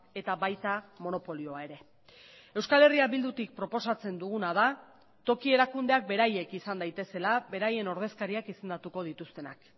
eta baita monopolioa ere euskal herria bildutik proposatzen duguna da toki erakundeak beraiek izan daitezela beraien ordezkariak izendatuko dituztenak